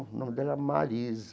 O nome dela é Marisa.